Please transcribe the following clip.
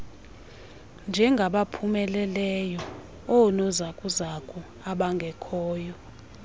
njengabaphumeleleyo oonozakuzaku abangekhoyo